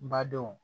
N badenw